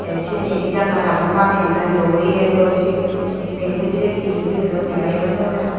tey sinnidi janalagun baneyoun loeya loi say bederade he toyoun dega eyo no jar.